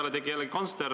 Aga me ei räägi ju sellest.